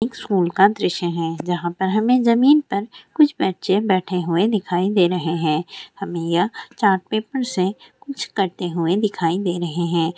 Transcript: एक स्कूल का दृश्य है जहाँ पर हमें जमीन पर कुछ बच्चे बैठे हुए दिखाई दे रहे हैं और यह चार्ट पेपर से कुछ करते हुए दिखाई दे रहे हैं ।